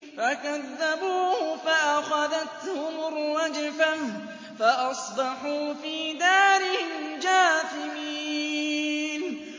فَكَذَّبُوهُ فَأَخَذَتْهُمُ الرَّجْفَةُ فَأَصْبَحُوا فِي دَارِهِمْ جَاثِمِينَ